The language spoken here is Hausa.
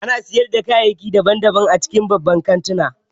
Ana sayar da kayayyaki daban-daban a cikin babban kantuna